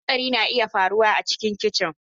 Hatsari na iya faruwa a cikin kicin.